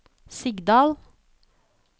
Sigdal